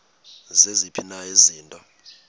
ziziphi na izinto